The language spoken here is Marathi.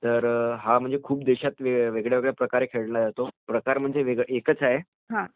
तर हा खूप देशात वेगवेगळ्या प्रकारे खेळला जातो. प्रकार म्हणजे एकच आहे